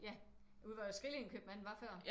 Ja ude hvor Skrillinge købmanden var før?